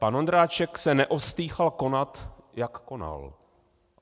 Pan Ondráček se neostýchal konat, jak konal.